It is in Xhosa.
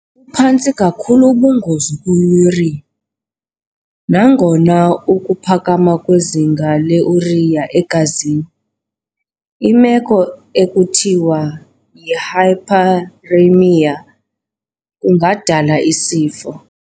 buphantsi kakhulu ubungozi kwiUrea, nangona ukuphakama kwezinga leurea egazini, imeko ekuthiwa yihyperuremia, kungadala isifo.